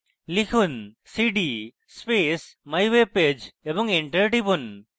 লিখুন: cd space mywebpage এবং enter টিপুন